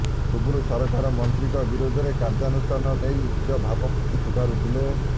ପୂର୍ବରୁ ସରକାର ମନ୍ତ୍ରୀଙ୍କ ବିରୋଧରେ କାର୍ଯ୍ୟାନୁଷ୍ଠାନ ନେଇ ନିଜ ଭାବମୂର୍ତ୍ତି ସୁଧାରୁଥିଲେ